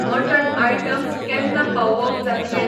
Mutton items केन्ना पावोवप जाातले?